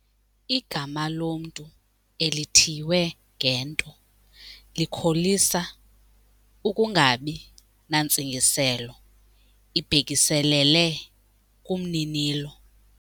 Igama lomntu elithiywe ngento likholisa ukungabi nantsingiselo ibhekiselele kumninilo.